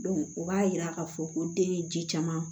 o b'a yira k'a fɔ ko den ye ji caman